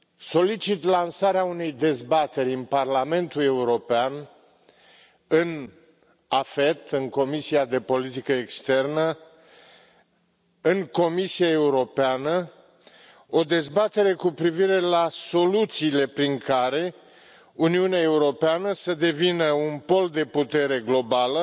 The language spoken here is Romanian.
Solicit lansarea unei dezbateri în Parlamentul European, în cadrul Comisiei pentru afaceri externe AFET, în Comisia Europeană, o dezbatere cu privire la soluțiile prin care Uniunea Europeană să devină un pol de putere globală,